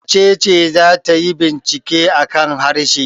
Wace ce za ta yi bincike a kan harshe?